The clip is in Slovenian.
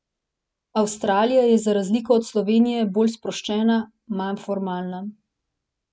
Avstralija je za razliko od Slovenije bolj sproščena, manj formalna.